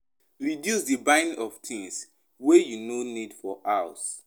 Reduce di buying of things wey you no need for house